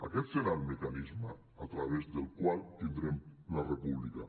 aquest serà el mecanisme a través del qual tindrem la república